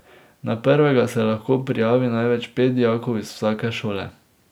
Na prvega se lahko prijavi največ pet dijakov iz vsake šole.